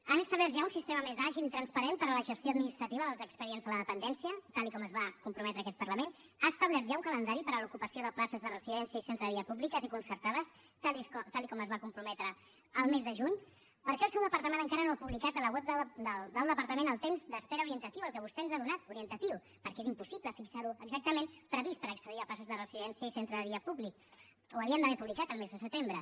han establert ja un sistema més àgil i transparent per a la gestió administrativa dels expedients de la dependència tal com es va comprometre aquest parlament ha establert ja un calendari per a l’ocupació de places de residència i centre de dia públiques i concertades tal com es va comprometre el mes de juny per què el seu departament encara no ha publicat a la web del departament el temps d’espera orientatiu el que vostè ens ha donat orientatiu perquè és impossible fixar lo exactament previst per accedir a places de residència i centre de dia públiques ho haurien d’haver publicat el mes de setembre